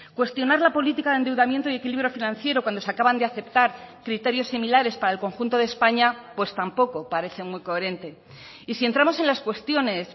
cuestionar la política de endeudamiento y equilibrio financiero cuando se acaban de aceptar criterios similares para el conjunto de españa pues tampoco parece muy coherente y si entramos en las cuestiones